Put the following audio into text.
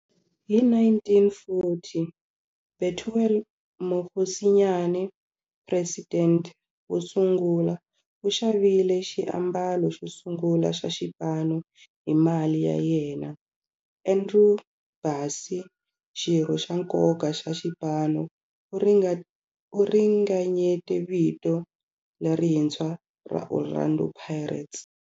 Hi 1940, Bethuel Mokgosinyane, president wosungula, u xavile xiambalo xosungula xa xipano hi mali ya yena. Andrew Bassie, xirho xa nkoka xa xipano, u ringanyete vito lerintshwa ra 'Orlando Pirates'.